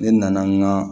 Ne nana n ka